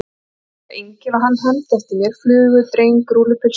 Ég fór að gera engil og hann hermdi eftir mér: flugu, dreng, rúllupylsu.